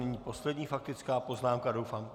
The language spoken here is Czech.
Nyní poslední faktická poznámka doufám...